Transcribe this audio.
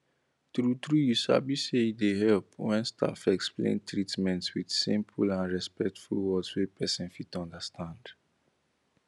truetrue you sabi say e dey help when staff explain treatment with simple and respectful words wey person fit understand